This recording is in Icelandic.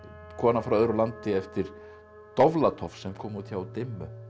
kona frá öðru landi eftir sem kom út hjá dimmu